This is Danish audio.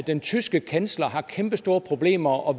den tyske kansler har kæmpestore problemer og